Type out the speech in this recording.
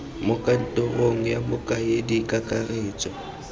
mo kantorong ya mokaedi kakaretso